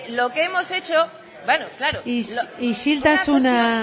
lo que hemos hecho bueno claro isiltasuna